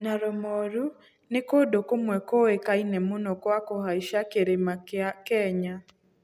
Naro Moru nĩ kũndũ kũmwe kũĩkaine mũno kwa kũhaica Kĩrĩma kĩa Kenya.